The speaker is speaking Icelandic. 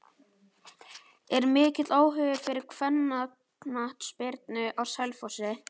Er mikill áhugi fyrir kvennaknattspyrnu á Selfossi?